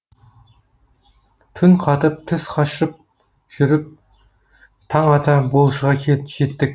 түн қатып түс қашып жүріп таң ата болшыға жеттік